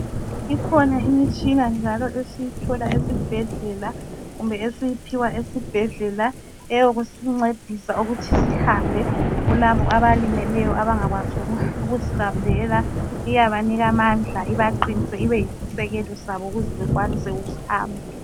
Ikhona imitshina njalo esiyithola esibhedlela kumbe esiyiphiwa esibhedlela eyokusincedisa ukuthi sihambe kulabo abalimeleyo abangakwazi ukuzihambela. Iyabanika amandla, ibaqinise, ibe yisisekelo sabo ukuze bekwanise ukuhamba.